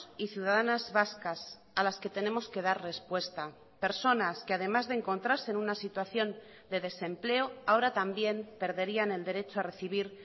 y ciudadanas vascas a las que tenemos que dar respuesta personas que además de encontrarse en una situación de desempleo ahora también perderían el derecho a recibir